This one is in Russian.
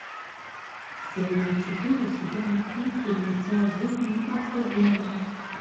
серия четыре сезона три фильмеца жизнь непредсказуема